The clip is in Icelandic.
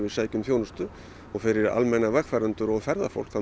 sækjum þjónustu og fyrir almenna vegfarendur og ferðafólk þá